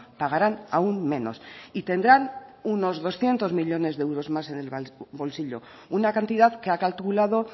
pagaran aun menos y tendrán unos doscientos millónes de euros más en el bolsillo una cantidad que ha calculado